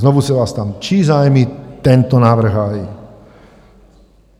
Znovu se vás ptám: Čí zájmy tento návrh hájí?